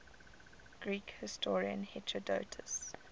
greek historian herodotus